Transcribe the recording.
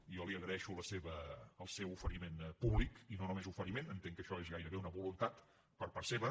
jo li agraeixo el seu oferiment públic i no només oferiment entenc que això és gairebé una voluntat per part seva